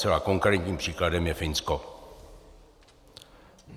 Zcela konkrétním příkladem je Finsko.